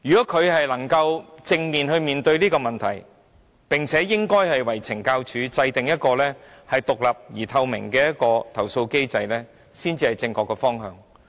他要正視這問題，為懲教署制訂獨立而透明的投訴機制，這才是正確的方向。